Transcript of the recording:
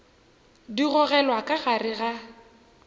di gogelwa ka gare ga